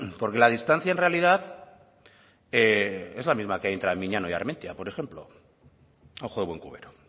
porque la distancia en realidad es la misma que hay entre miñano y armentia por ejemplo a ojo de buen cubero